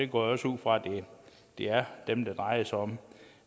går også ud fra at det er dem det drejer sig om